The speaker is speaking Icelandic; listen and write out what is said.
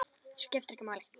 Skiptir ekki máli!